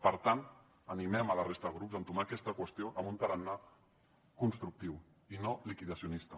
per tant animem la resta de grups a entomar aquesta qüestió amb un tarannà constructiu i no liquidacionista